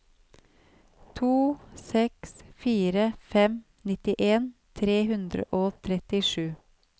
to seks fire fem nittien tre hundre og trettisju